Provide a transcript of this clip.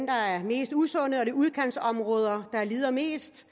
der er mest usunde og at det er udkantsområderne der lider mest